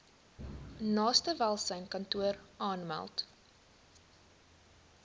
naaste welsynskantoor aanmeld